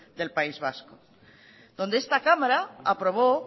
del país vasco donde esta cámara aprobó